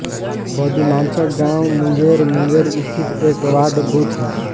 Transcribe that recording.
पदुमानचक गाँव मुंगेर मुंगेर स्थित एक वार्डबूथ है